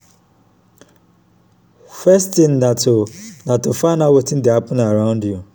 first tin na to na to find out wetin dey happen around you.